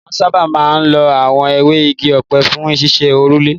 Wọn sáábà máa ń lo àwọn ewé igi ọ̀pẹ fún ṣíṣe òrùlé.